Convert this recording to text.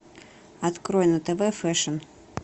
открой на тв фэшн